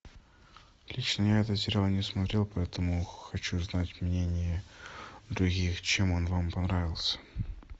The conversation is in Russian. лично я этот сериал не смотрел поэтому хочу знать мнение других чем он вам понравился